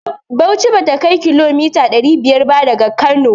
Bauchi bata kai kilomita ɗari biyar ba daga Kano.